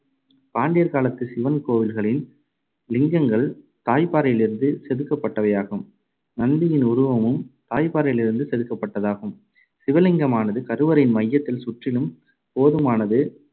பாண்டியர் காலத்துச் சிவன் கோவில்களின் லிங்கங்கள் தாய்ப் பாறையிலிருந்து செதுக்கப்பட்டவையாகும். நந்தியின் உருவமும் தாய்ப்பாறையிலிருந்து செதுக்கப்பட்டதாகும். சிவலிங்கமானது கருவறையின் மையத்தில், சுற்றிலும் போதுமானது